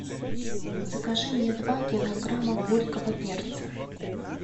закажи мне два килограмма горького перца